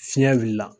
Fiɲɛ wulila